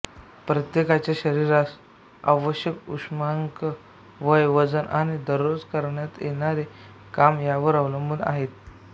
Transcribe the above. प्रत्येकाच्या शरीरास आवश्यक उष्मांक वय वजन आणि दररोज करण्यात येणारे काम यावर अवलंबून आहेत